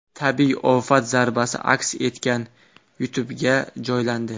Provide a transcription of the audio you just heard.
Tabiiy ofat zarbasi aks etgan YouTube’ga joylandi .